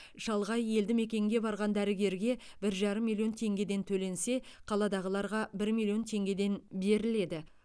шалғай елді мекенге барған дәрігерге бір жарым миллион теңгеден төленсе қаладағыларға бір миллион теңгеден беріледі